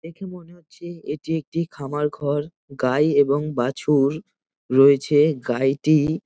দেখে মনে হচ্ছে এটি একটি খামার ঘর গাই এবং বাছুর রয়েছে গাইটি-ই--